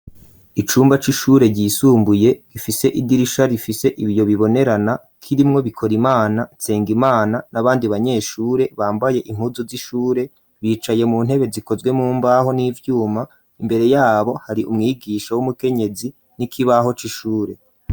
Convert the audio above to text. Icumba c'ishure, ryisumbuye, gifise idirisha, rifise ibiyo bibonerana; kirimwo Bikorimana, Nsengimana, n'abandi banyeshure; bambaye impuzu z'ishure, bicaye mu ntebe, zikozwe mumbaho, n'ivyuma; imbere y'abo, hari umwigisha w'umukenyezi, n'ikibaho c'ishure.